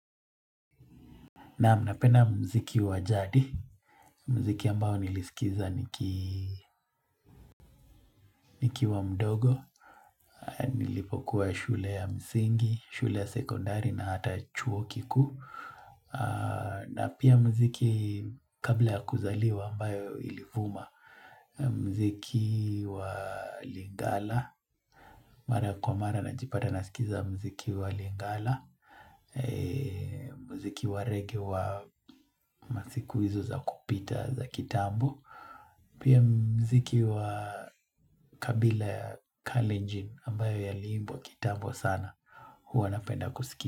Naam, napenda muziki wa jadi, muziki ambao nilisikiza niki nikiwa mdogo, nilipokuwa shule ya msingi, shule ya sekondari na hata chuo kikuu. Na pia muziki kabla ya kuzaliwa ambayo ilivuma, muziki wa lingala. Mara kwa mara najipata nasikiza muziki wa lingala, muziki wa reggae wa masiku hizo za kupita za kitambo, pia muziki wa kabila ya kalenji ambayo yaliimbwa kitambo sana, huwa napenda kusiki.